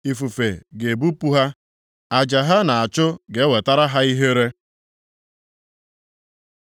Ifufe ga-ebupụ ha, aja ha na-achụ ga-ewetara ha ihere.